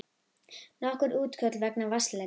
Nokkur útköll vegna vatnsleka